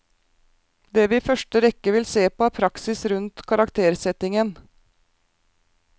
Det vi i første rekke vil se på er praksis rundt karaktersettingen.